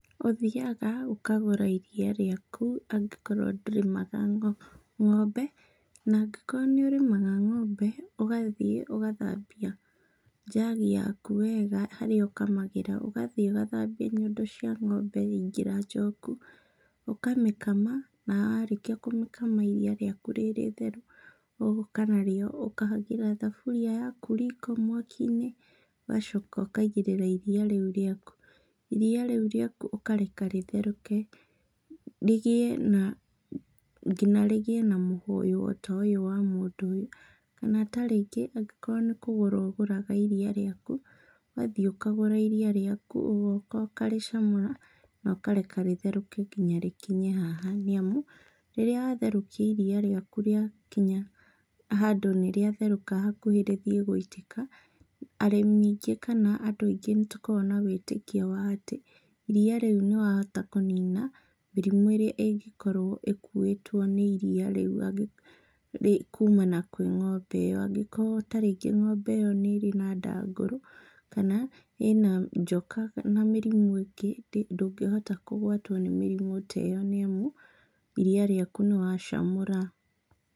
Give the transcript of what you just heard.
Ũthiaga ũkagũra iriia rĩaku angĩkorwo ndũrĩmaga ng'ombe na angĩkorwo nĩ ũrĩmaga ng'ombe, ũgathiĩ ũgathambia njagi yaku wega harĩa ũkamagĩra , ũgathiĩ ũgathambia nyondo cia ng'ombe waingĩra njoku, ũkamĩkama, na warĩkia kũmĩkama iriia rĩaku rĩitheru ũgoka narĩo ũkahagĩra thaburia yaku riko mwakinĩ ũgacoka ũkaigĩrĩra iriia rĩu rĩaku. Iriia rĩu rĩaku ũkareka rĩtherũke rĩgĩe na , ngĩna rĩgĩe na mũhũyũ o ta ũyũ wa mũndũ ũyũ. Kana tarĩngĩ angĩkorwo nĩ kũgũra ũgũraga iriia rĩaku, ũgathiĩ ũkagũra iriia rĩaku ugoka ũkarĩcamũra na ũkareka rĩtherũke kinya rĩkinye haha nĩamu rĩrĩa watherũkia iriia rĩaku rĩakinya handũ nĩ rĩatherũka hakuhĩ rĩthiĩ gũitĩka, arĩmi aingĩ kana andũ aingĩ nĩ tũkoragwo na wĩtĩkio wa atĩ iriia rĩu nĩwahota kũnina mĩrimũ ĩrĩa ĩngĩkorwo ĩkuwĩtwo nĩ iriia rĩu kumana na kwĩ ng'ombe ĩyo angĩkorwo ta rĩngĩ ng'ombe ĩo nĩrĩ na ndangũrũ, kana ĩna njoka na mĩrimũ ĩngĩ ndũngĩhota kũgwatwo nĩ mĩrimũ ta ĩyo nĩamu iriia rĩaku nĩwacamũra.